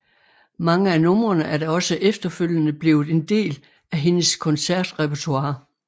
Mange af numrene er da også efterfølgende blevet en del af hendes koncertrepertoire